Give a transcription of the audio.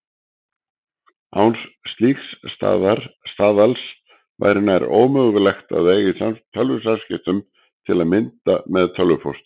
Án slíks staðals væri nær ómögulegt að eiga í tölvusamskiptum, til að mynda með tölvupósti.